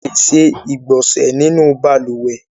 A lè ṣe ìgbọ̀nsẹ̀ nínú balùwẹ́